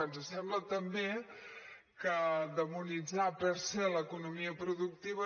ens sembla també que demonitzar per se l’economia productiva